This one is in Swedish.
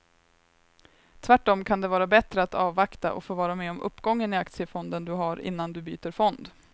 Tvärtom kan det vara bättre att avvakta och få vara med om uppgången i aktiefonden du har innan du byter fond.